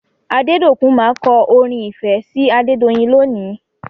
Adédòkun má kọ orin ìfẹ́ sí Adedoyin lónìí.